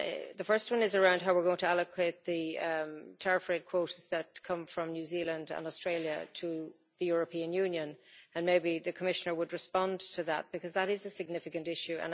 The first one is around how we are going to allocate the tariff-rate quotas that come from New Zealand and Australia to the European Union, and maybe the Commissioner would respond to that, because that is a significant issue.